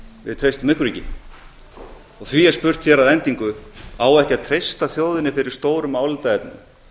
við treystum ykkur ekki því er spurt hér að endingu á ekki að treysta þjóðinni fyrir stórum álitaefnum